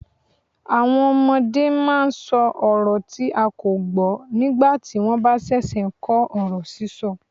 Àwọn ọmọdé máa ń sọ ọrọ tí a kò gbọ́ nígbà tí wọ́n bá ṣẹ̀ṣẹ̀ ń kọ́ ọ̀rọ̀ sísọ.